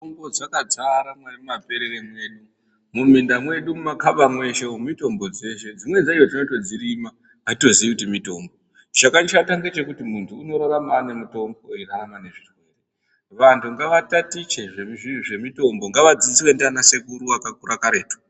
Mutombo dzakadzara mumaperere mwedu muminda mwedu mumakaba mweshe mutombo dzeshe dzimweni dzacho tinotodxirima atitoxiyi kuti mutombo andu ngatatiche zvemutombo ngadziswe ndiana sekuru akakura karetu.